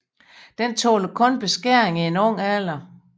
Den tåler kun beskæring i ung alder